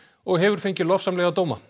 og hefur fengið lofsamlega dóma